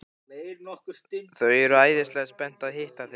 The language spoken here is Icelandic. Þau eru æðislega spennt að hitta þig.